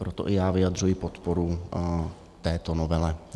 Proto i já vyjadřuji podporu této novele.